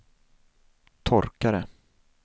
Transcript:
torkare